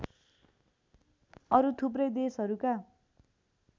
अरू थुप्रै देशहरूका